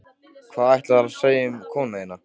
Hvað ætlaðirðu að segja um konuna þína?